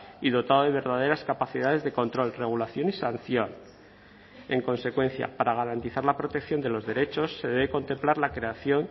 y dotado de verdaderas capacidades de control regulación y sanción en consecuencia para garantizar la protección de los derechos se debe contemplar la creación